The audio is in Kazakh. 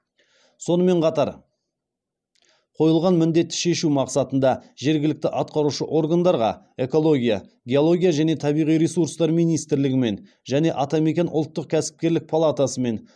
сонымен қатар қойылған міндетті шешу мақсатында жергілікті атқарушы органдарға экология геология және табиғи ресурстар министрлігімен және атамекен ұлттық кәсіпкерлік палатасымен